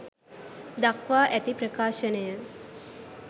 දක්වා ඇති ප්‍රකාශනය